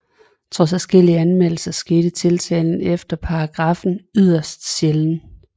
Trods adskillige anmeldelser skete tiltale efter paragraffen yderst sjældent